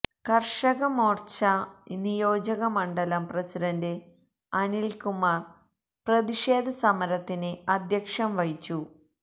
കർഷക മോർച്ച നിയോജക മണ്ഡലം പ്രസിഡണ്ട് അനിൽകുമാർ പ്രതിക്ഷേധ സമരത്തിന് അദ്ധ്യക്ഷം വഹിച്ചു